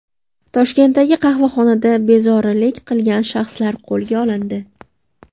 Toshkentdagi qahvaxonada bezorilik qilgan shaxslar qo‘lga olindi.